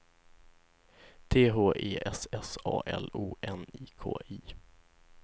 T H E S S A L O N I K I